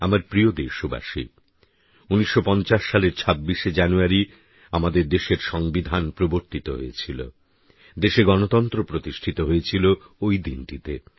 আমার প্রিয় দেশবাসী ১৯৫০ সালের ২৬শে জানুয়ারি আমাদের দেশের সংবিধান প্রবর্তিত হয়েছিল দেশে গণতন্ত্র প্রতিষ্ঠিত হয়েছিল ওই দিনটিতেই